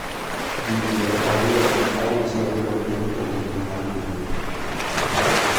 Ji piero ariyo kod auchiel oneg e monj mar Burundi